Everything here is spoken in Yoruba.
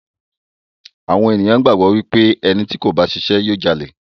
Àwọn ènìyàn gbàgbọ́ wípé ẹni tí kò bá ṣe iṣẹ́ yóò Jalè.